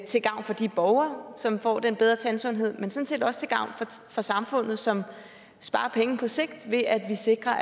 til gavn for de borgere som får den bedre tandsundhed men sådan set også til gavn for samfundet som sparer penge på sigt ved at vi sikrer